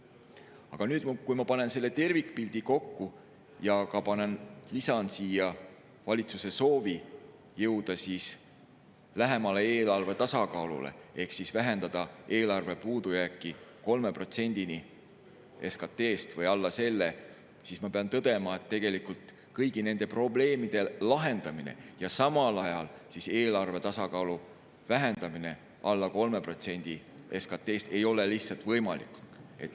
Aga kui ma panen selle tervikpildi kokku ja lisan siia valitsuse soovi jõuda lähemale eelarve tasakaalule ehk vähendada eelarve puudujääk 3%‑ni SKT‑st või alla selle, siis ma pean tõdema, et tegelikult kõigi nende probleemide lahendamine ja samal ajal eelarve tasakaalu vähendamine alla 3% SKT‑st ei ole lihtsalt võimalik.